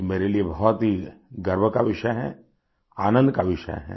ये मेरे लिए बहुत ही गर्व का विषय है आनंद का विषय है